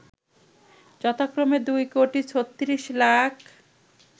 যথাক্রমে ২ কোটি ৩৬ লাখ